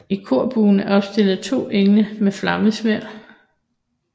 I korbuen er opstillet to engle med flammesværd